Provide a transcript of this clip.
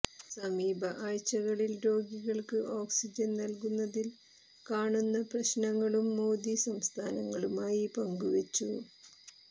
സമീപ ആഴ്ചകളിൽ രോഗികൾക്ക് ഓക്സിജൻ നൽകുന്നതിൽ കാണുന്ന പ്രശ്നങ്ങളും മോദി സംസ്ഥാനങ്ങളുമായി പങ്കുവച്ചു